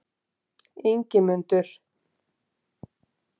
Ingimundur